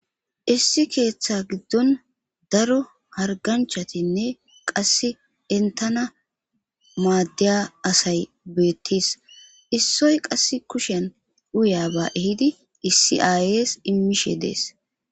Issi keeththa giddon daro harganchatinne qasse entana maaddeya asay beettis issoy qass kushen uya ba ehidi issi aayyes immishe de'ees.